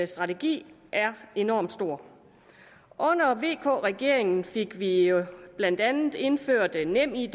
strategi er enormt stort under vk regeringen fik vi jo blandt andet indført nemid